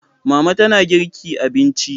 Mama tana girki abinci